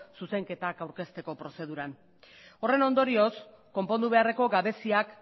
zuzenketa aurkezteko prozeduran horren ondorioz konpondu beharreko gabeziak